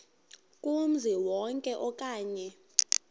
kumzi wonke okanye